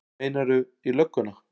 Meinarðu. í lögguna?